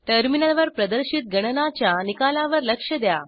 टर्मिनलवर प्रदर्शित गणनाच्या निकालावर लक्ष द्या